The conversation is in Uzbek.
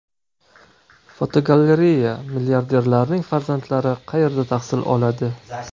Fotogalereya: Milliarderlarning farzandlari qayerda tahsil oladi?.